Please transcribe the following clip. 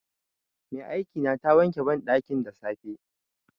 Mai aikina ta wanke banɗakin da safe.